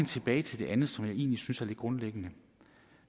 tilbage til det andet som jeg egentlig synes er lidt grundlæggende